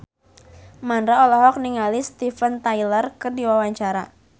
Mandra olohok ningali Steven Tyler keur diwawancara